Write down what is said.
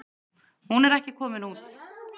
Hún er ekki komin út.